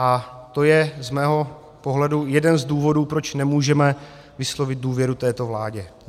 A to je z mého pohledu jeden z důvodů, proč nemůžeme vyslovit důvěru této vládě.